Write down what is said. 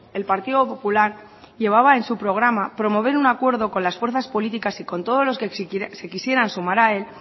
el partido popular llevaba en su programa promover un acuerdo con las fuerzas políticas y con todos los que se quisieran sumar a él